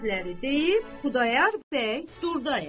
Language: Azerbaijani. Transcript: Bu sözləri deyib Xudayar bəy durdaya.